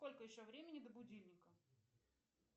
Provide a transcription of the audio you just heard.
сколько еще времени до будильника